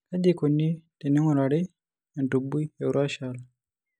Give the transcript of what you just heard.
Kaji eikoni teneing'urari entubui eurachal?